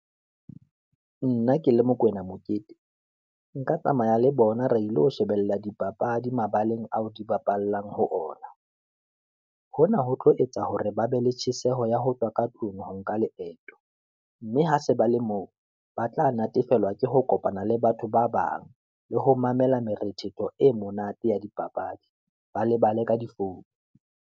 Nna ke le Mokoena Mokete, nka tsamaya le bona re ilo shebella dipapadi mabaleng ao di bapallang ho ona, hona ho tlo etsa hore ba be le tjheseho ya ho utlwa ka tlung ho nka leeto, mme ha se ba le moo, ba tla natefelwa ke ho kopana le batho ba bang, le ho mamela morethetho e monate ya dipapadi. Ba lebale ka difounu.